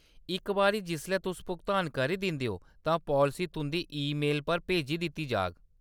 इक बारी जिसलै तुस भुगतान करी दिंदे ओ, तां पालसी तुंʼदी ईमेल पर भेजी दित्ती जा‌ग।